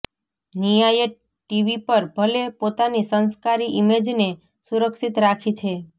નિયાએ TV પર ભલે પોતાની સંસ્કારી ઈમેજને સુરક્ષિત રાખી છે